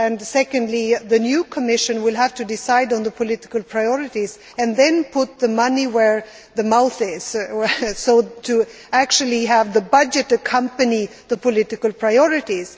Secondly, the new Commission will have to decide on the political priorities and then put its money where its mouth is in order to actually have the budget to accompany the political priorities.